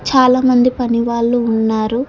చాలా మంది పని వాళ్ళు ఉన్నారు.